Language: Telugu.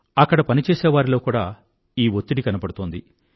అక్కడ పనిచేసేవారిలో కూడా ఈ వత్తిడి కనబడుతోంది